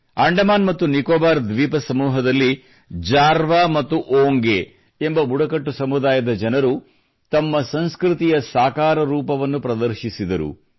ಅಂಡಮಾನ್ ಮತ್ತು ನಿಕೊಬಾರ್ ದ್ವೀಪ ಸಮೂಹದಲ್ಲಿ ಜಾರ್ವಾ ಮತ್ತು ಓಂಗೆ ಎಂಬ ಬುಡಕಟ್ಟು ಸಮುದಾಯದ ಜನರು ತಮ್ಮ ಸಂಸ್ಕೃತಿಯ ಸಾಕಾರ ರೂಪವನ್ನು ಪ್ರದರ್ಶಿಸಿದರು